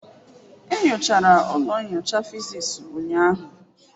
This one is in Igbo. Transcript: E nyochara ụlọ nyocha physics ụnyahụ.